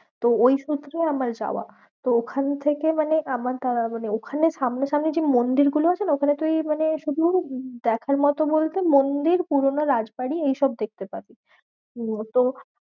তো ওই সূত্রে আমার যাওয়া। তো ওখান থেকে মানে আমার মানে ওখানে সামনা সামনি যে মন্দির গুলো আছে না, ওখানে তুই মানে শুধু উম দেখার মতো বলতে মন্দির পুরোনো রাজবাড়ী এইসব দেখতে পাবি। মতো